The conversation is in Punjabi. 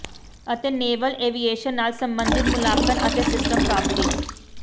ਅਤੇ ਨੈਵਲ ਐਵੀਏਸ਼ਨ ਨਾਲ ਸਬੰਧਤ ਮੁੱਲਾਂਕਣ ਅਤੇ ਸਿਸਟਮ ਪ੍ਰਾਪਤੀ